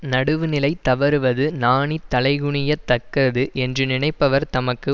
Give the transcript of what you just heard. நடுவுநிலை தவறுவது நாணித் தலைகுனியத் தக்கது என்று நினைப்பவர் தமக்கு